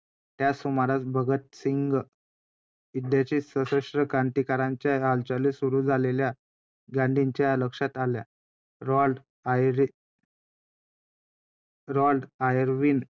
की त्याकाळी कशा गोष्टी च्या त्या त्या स्त्रियांना किती गोष्टी.